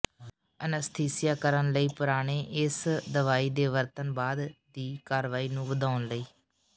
anaesthesia ਕਰਨ ਲਈ ਪੁਰਾਣੇ ਇਸ ਦਵਾਈ ਦੇ ਵਰਤਣ ਬਾਅਦ ਦੀ ਕਾਰਵਾਈ ਨੂੰ ਵਧਾਉਣ ਲਈ